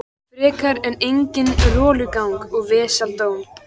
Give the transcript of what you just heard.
Frekar en eigin rolugang og vesaldóm.